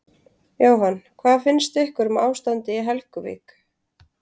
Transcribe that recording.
Jóhann: Hvað finnst ykkur um ástandið í Helguvík?